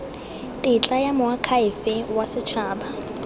tetla ya moakhaefe wa setshaba